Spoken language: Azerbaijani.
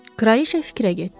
Kraliça fikrə getdi.